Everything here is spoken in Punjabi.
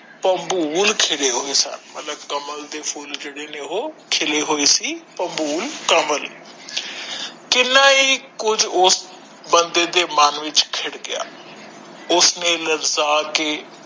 ਖਿਲੇ ਹੋਏ ਸਨ ਮਤਲਬ ਕਮਲ ਦੇ ਫੁਲ ਜਿਹੜੇ ਨੇ ਉਹ ਖਿਲੇ ਹੋਏ ਸੀ ਕਮਲ। ਕਿੰਨਾ ਏ ਕੁਛ ਉਸ ਬੰਦੇ ਦੇ ਮਨ ਵਿਚ ਖਿੜ ਗਿਆ ਉਸਨੇ